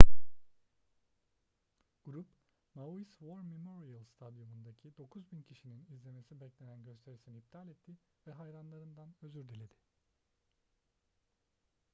grup maui's war memorial stadyumu'ndaki 9.000 kişinin izlemesi beklenen gösterisini iptal etti ve hayranlarından özür diledi